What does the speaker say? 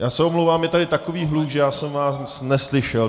Já se omlouvám, je tady takový hluk, že já jsem vás neslyšel.